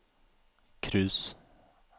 cruise